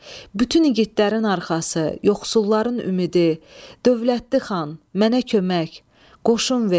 Bütün igidlərin arxası, yoxsulların ümidi, dövlətli xan, mənə kömək, qoşun ver.